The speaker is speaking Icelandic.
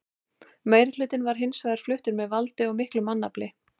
Meirihlutinn var hins vegar fluttur með valdi og miklu mannfalli.